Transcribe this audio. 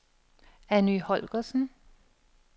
Anny Holgersen